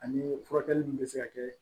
Ani furakɛli min bɛ se ka kɛ